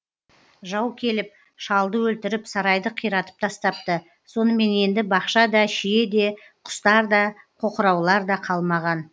жау келіп шалды өлтіріп сарайды қиратып тастапты сонымен енді бақша да шие де құстар да қоқыраулар да қалмаған